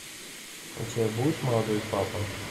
у тебя будет молодой папа